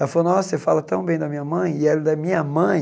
Ela falou, nossa, você fala tão bem da minha mãe, e ela, da minha mãe?